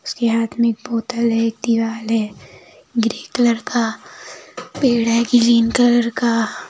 उसके हाथ में एक बोतल है एक दीवाल है ग्रीन कलर का पेड़ है ग्रीन कलर का--